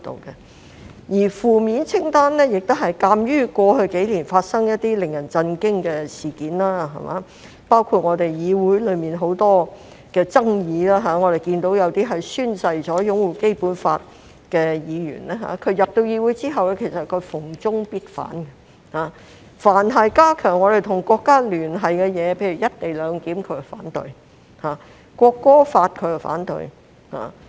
至於負面清單，也是鑒於過去數年所發生一些令人震驚的事件而訂定的，包括議會內有很多爭議，有些宣誓擁護《基本法》的議員進入議會後逢中必反，凡是加強我們與國家聯繫的事宜，例如"一地兩檢"，他們便反對；《國歌條例》，他們亦反對。